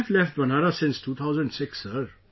I have left Banaras since 2006 sir